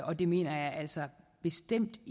og det mener jeg altså bestemt